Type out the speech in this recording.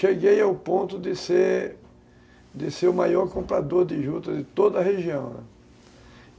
Cheguei ao ponto de ser, de ser, o maior comprador de juta de toda a região.